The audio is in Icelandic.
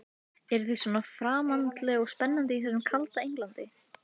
Ætlaði ég að lúffa fyrir áttræðum óvopnuðum munki?